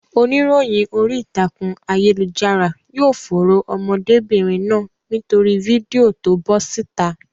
Oníròyìn orí ìtàkùn ayélujára yóò fòòró ọmọdébìnrin náà nítorí fídíò to bọ́ síta.